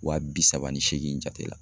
Wa bi saba ni seegin jate la.